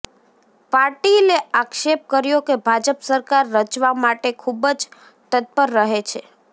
પાટિલે આક્ષેપ કર્યો કે ભાજપ સરકાર રચવા માટે ખૂબજ તત્પર રહે છે